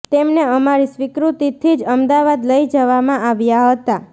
તેમને અમારી સ્વીકૃતિથી જ અમદાવાદ લઈ જવામાં આવ્યા હતા